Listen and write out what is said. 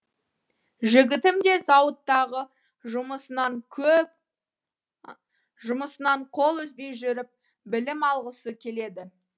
жігітім де зауыттағы жұмысынан қол үзбей жүріп білім алғысы келеді